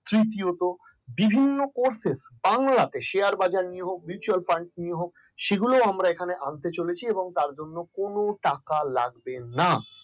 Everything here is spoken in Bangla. তৃতীয়ত বিভিন্ন course এ বাংলাতে share বাজার নিয়ে হোক mutual fund নিয়ে হোক সেগুলোই আমরা এখানে আনতে চলেছি তার জন্য কোন টাকা লাগবে না